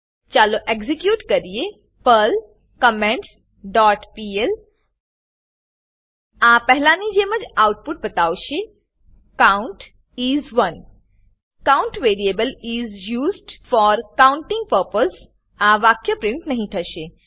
ચાલો એક્ઝીક્યુટ કરીએ Perl comments dot PL આ પહેલા ની જેમ જ આઉટપુટ બતાવશે count is 1 count variable is used for counting purpose આ વાક્ય પીન્ટ નહી થશે